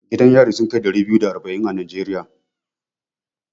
Gidan yari sun kai ɗari biyu da arba'in a Najeriya.